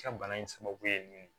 Ka bana in sababu ye min